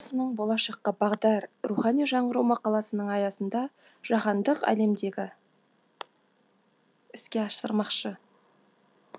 болашаққа бағдар рухани жаңғыру мақаласының аясында жаһандық әлемдегі іске асырмақшы